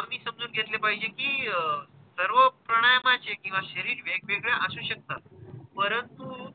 आम्ही समजून घेतले पाहिजे कि अं सर्व प्राणायामाची किंवा शरीर वेगवेगळ्या असू शकतात परंतु,